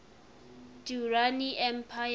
durrani empire